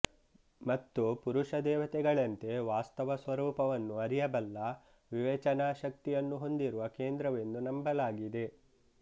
ಮತ್ತು ಪುರುಷ ದೇವತೆಗಳಂತೆ ವಾಸ್ತವ ಸ್ವರೂಪವನ್ನು ಅರಿಯಬಲ್ಲ ವಿವೇಚನಾಶಕ್ತಿಯನ್ನು ಹೊಂದಿರುವ ಕೇಂದ್ರವೆಂದು ನಂಬಲಾಗಿದೆ